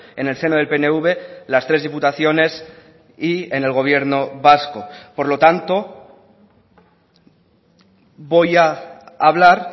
en el seno del pnv las tres diputaciones y en el gobierno vasco por lo tanto voy a hablar